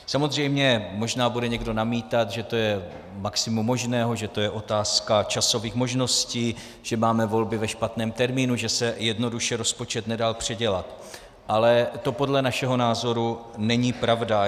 Samozřejmě, možná bude někdo namítat, že to je maximum možného, že to je otázka časových možností, že máme volby ve špatném termínu, že se jednoduše rozpočet nedal předělat, ale to podle našeho názoru není pravda.